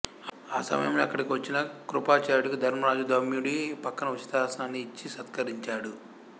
ఆ సమయంలో అక్కడకు వచ్చిన కృపాచార్యుడికి ధర్మరాజు ధౌమ్యుడి పక్కన ఉచితాసనాన్ని ఇచ్చి సత్కరించాడు